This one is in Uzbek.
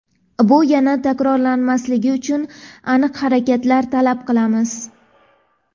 bu yana takrorlanmasligi uchun aniq harakatlar talab qilamiz.